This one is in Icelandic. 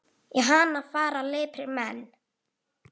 Í hana fara liprir menn.